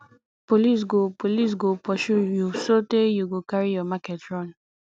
police go police go pursue you sotee you go carry your market run